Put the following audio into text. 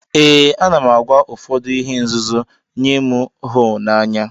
Ee anam agwa ụfọdu ihe nzuzom nye mu hu na anya.